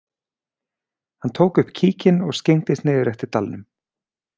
Hann tók upp kíkinn og skyggndist niður eftir dalnum.